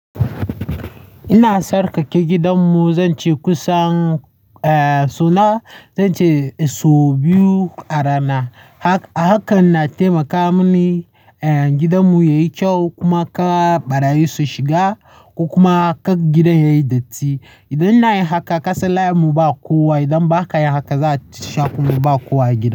Ina sarkake gidanmu, zan ce kusan suna, zan ce sau biyu a rana. Haka, hakan na taimaka mini gidanmu yayi kyau kuma kar ɓarayi su shiga kuma kar gidan yayi datti. Idan na yi haka, kasalar mu ba kowa. Idan ba ka yi haka, za a ce kuma ba kowa a gidan.